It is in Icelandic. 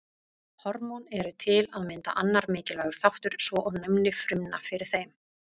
Hormón eru til að mynda annar mikilvægur þáttur svo og næmni frumna fyrir þeim.